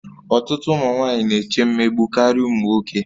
Ọtụtụ ụmụ nwanyị na-eche mmegbu karịa ụmụ nwoke